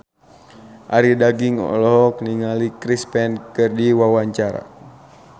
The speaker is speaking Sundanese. Arie Daginks olohok ningali Chris Pane keur diwawancara